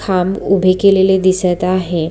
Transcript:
खांब उभे केलेले दिसत आहे.